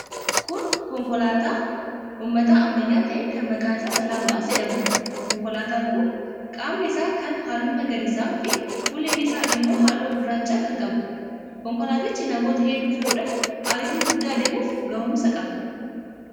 Kun konkolaataa uummataa ammayyaa ta'e kan maqaan isaa 'Selaam Bus' jedhamuudha. Konkolaataan kun qaamni isaa kaan halluu magariisaafi fuulleen isaa immoo halluu gurraacha kan qabuudha. Konkolaatichi namoota hedduu fe'uudhaan ariitii guddaa deemuuf ga'umsa qaba.